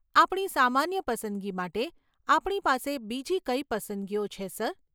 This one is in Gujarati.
આપણી સામાન્ય પસંદગી માટે આપણી પાસે બીજી કઈ પસંદગીઓ છે સર?